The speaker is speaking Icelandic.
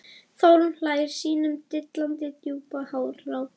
Þórunn hlær sínum dillandi djúpa hlátri.